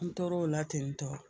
N tor'o la tentɔ